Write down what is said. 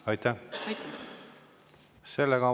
Aitäh!